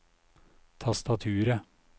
tastaturet